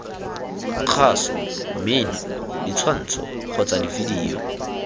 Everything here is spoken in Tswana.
kgaso mmino ditshwantsho kgotsa divideyo